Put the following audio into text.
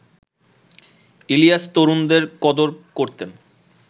ইলিয়াস তরুণদের কদর করতেন